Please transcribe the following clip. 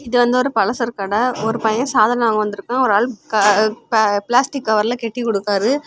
இது வந்து ஒரு பல சரக்கு கடெ ஒரு பையன் சாதன வாங்க வந்திருக்கா ஒரு ஆளு பிளாஸ்டிக் கவர்ல கட்டி கொடுக்காரு.